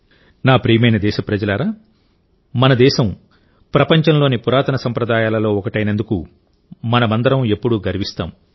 నా ప్రియమైన దేశప్రజలారామన దేశం ప్రపంచంలోని పురాతన సంప్రదాయాలలో ఒకటైనందుకు మనమందరం ఎప్పుడూ గర్విస్తాం